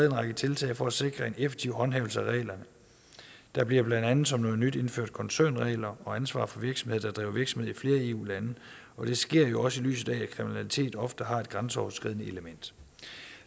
en række tiltag for at sikre en effektiv håndhævelse af reglerne der bliver blandt andet som noget nyt indført koncernregler og ansvar for virksomheder der driver virksomhed i flere eu lande det sker jo også i lyset af at kriminalitet ofte har et grænseoverskridende element